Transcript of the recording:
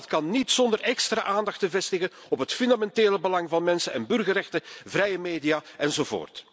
Maar dat kan niet zonder extra aandacht te vestigen op het fundamentele belang van mensen en burgerrechten, vrije media, enzovoort.